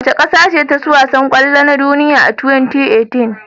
Wace ƙasace taci wasan kwallo na duniya a 2018?